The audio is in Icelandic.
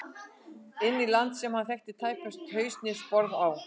Inn í land sem hann þekkti tæpast haus né sporð á.